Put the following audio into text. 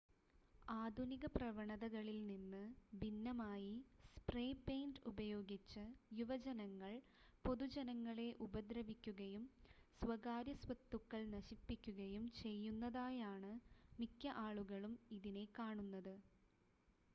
ആധുനിക പ്രവണതകളിൽ നിന്ന് ഭിന്നമായി സ്പ്രേ പെയിൻ്റ് ഉപയോഗിച്ച് യുവജനങ്ങൾ പൊതുജനങ്ങളെ ഉപദ്രവിക്കുകയും സ്വകാര്യസ്വത്തുക്കൾ നശിപ്പിക്കുകയും ചെയ്യുന്നതായാണ് മിക്ക ആളുകളും ഇതിനെ കാണുന്നത്